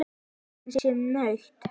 Hann sé naut.